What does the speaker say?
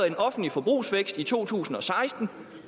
en offentlig forbrugsvækst i to tusind og seksten